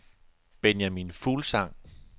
Benjamin Fuglsang